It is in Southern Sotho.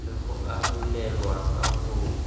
le ho arolelwa ka ho